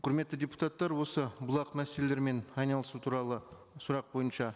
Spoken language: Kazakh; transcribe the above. құрметті депутаттар осы бұлақ мәселелерімен айналысу туралы сұрақ бойынша